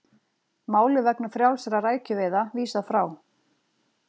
Máli vegna frjálsra rækjuveiða vísað frá